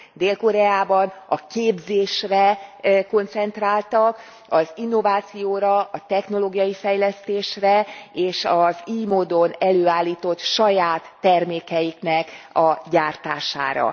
Dél Koreában a képzésre koncentráltak, az innovációra, a technológiai fejlesztésre, és az ily módon előállított saját termékek gyártására.